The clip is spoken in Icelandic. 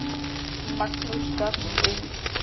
Magnús gafst upp.